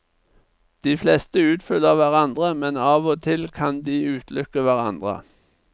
De fleste utfyller hverandre, men av og til kan de utelukke hverandre.